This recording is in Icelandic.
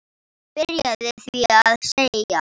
Hann byrjaði því að selja.